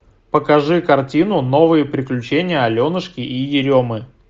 покажи картину новые приключения аленушки и еремы